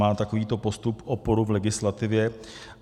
Má takovýto postup oporu v legislativě?